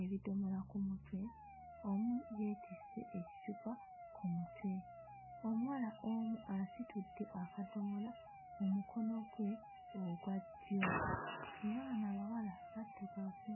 ebisomola ku mutwe. Omu yeetisse ekicupa ku mutwe. Omuwala omu asitudde akadomola mu mukono gwe ogwa ddyo era bano abawala baddugavu.